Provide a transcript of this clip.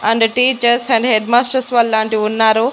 And teachers and head masters వాళ్ళు లాంటి ఉన్నారు.